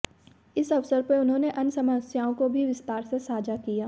इस अवसर पर उन्होंने अन्य समस्याओं को भी विस्तार से साझा किया